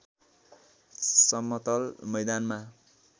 समतल मैदानमा